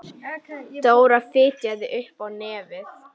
Dóra fitjaði upp á nefið.